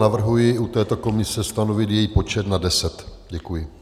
Navrhuji u této komise stanovit její počet na 10. Děkuji.